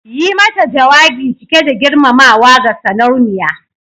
Yi mata jawabi cike da girmamawa ga Sarauniya